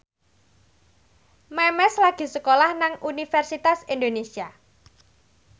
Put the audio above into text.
Memes lagi sekolah nang Universitas Indonesia